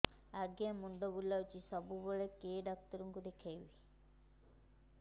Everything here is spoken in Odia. ଆଜ୍ଞା ମୁଣ୍ଡ ବୁଲାଉଛି ସବୁବେଳେ କେ ଡାକ୍ତର କୁ ଦେଖାମି